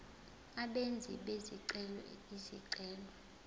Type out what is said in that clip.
abenzi bezicelo izicelo